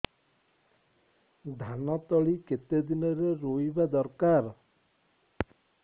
ଧାନ ତଳି କେତେ ଦିନରେ ରୋଈବା ଦରକାର